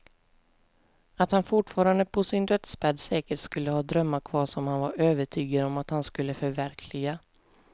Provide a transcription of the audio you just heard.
Att han fortfarande på sin dödsbädd säkert skulle ha drömmar kvar som han var övertygad om att han skulle förverkliga.